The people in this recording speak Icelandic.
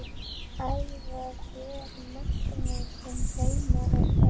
Elvar Geir Magnússon Heima er best.